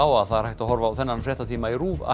að það er hægt að horfa á þennan fréttatíma í RÚV